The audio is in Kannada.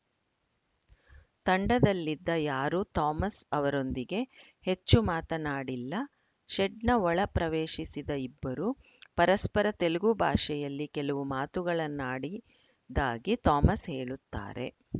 ತಂಡದಲ್ಲಿದ್ದ ಯಾರೂ ಥಾಮಸ್‌ ಅವರೊಂದಿಗೆ ಹೆಚ್ಚು ಮಾತನಾಡಿಲ್ಲ ಶೆಡ್‌ನ ಒಳ ಪ್ರವೇಶಿಸಿದ ಇಬ್ಬರು ಪರಸ್ಪರ ತೆಲುಗು ಭಾಷೆಯಲ್ಲಿ ಕೆಲವು ಮಾತುಗಳನ್ನಾಡಿದ್ದಾಗಿ ಥಾಮಸ್‌ ಹೇಳುತ್ತಾರೆ